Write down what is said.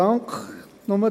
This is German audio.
der SiK.